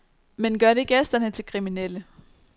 Men gør det gæsterne til kriminelle?